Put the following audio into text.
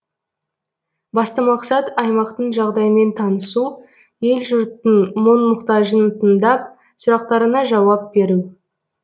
басты мақсат аймақтың жағдаймен танысу ел жұрттың мұң мұқтажын тыңдап сұрақтарына жауап беру